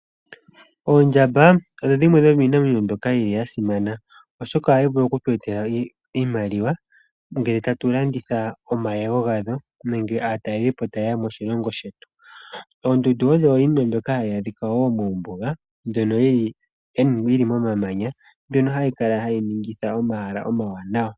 Oondjamba odho dhimwe dhomiinamwenyo mbyoka ya simana oshoka ohayi vulu okutu etela iimaliwa ngele tatu landitha omayego gadho nenge aatalelipo ta yeya moshilongo shetu. Oondundu odho iinima hayi adhika wo mombuga ndhono dhili momamanya ndhono hayi ningitha omahala omawanawa.